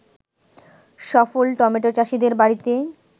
সফল টমেটো চাষিদের বাড়িতে